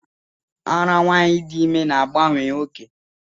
Árá nwanyị dị ime na-abawanye oke.